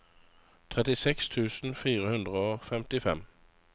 tjueseks tusen fire hundre og femtifem